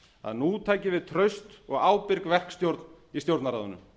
að nú tæki við traust og ábyrg verkstjórn í stjórnarráðinu